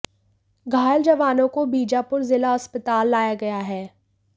घायल जवानों को बीजापुर जिला अस्पताल लाया गया है